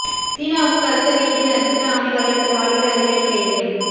சீனாவுக்கு கடத்த வீட்டில் நட்சத்திர ஆமை வளர்த்த வாலிபர் அதிரடி கைது